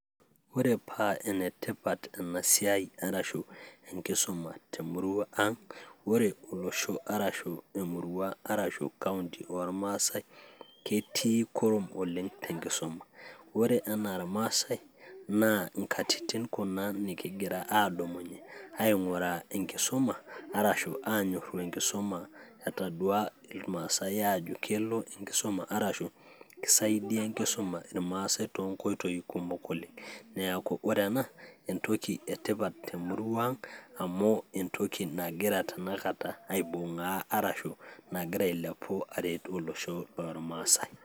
ore paa enetipat ena siai arashu enkisuma temurua ang' ore olosho arashu emurua arashu kaunti ormasae ketii kurum oleng' tenkisuma ore anaa irmasae naa inkatitin kuna nikingira adumunye aing'uraa enkisuma arashu anyorru enkisuma etadua ilmaasae ajo kelo enkisuma arashu ki saidia enkisuma irmaasae tonkoitoi kumok oleng' neeku ore ena entoki etipat temurua ang' amu entoki nagira tenakata aibung'aa arashu nagira ailepu aretu olosho lormasae.